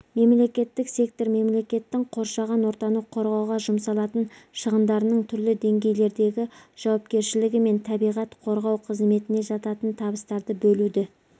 мемлекеттік сектор мемлекеттің қоршаған ортаны қорғауға жұмсалатын шығындарының түрлі деңгейлердегі жауапкершіәлігі мен табиғат қорғау қызметіне жататын табыстарды бөлуді